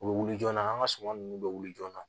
U bɛ wuli joona an ka suman ninnu bɛ wuli joona